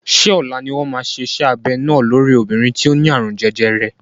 Ṣé ọ̀la ni wọ́n máa ṣe iṣẹ́ abẹ náà lórí obìnrin tí ó ní àrùn jẹjẹrẹ?